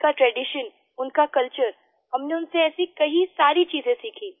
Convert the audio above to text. उनका ट्रेडिशन उनका कल्चर हमने उनसे ऐसी कई सारी चीजें सीखी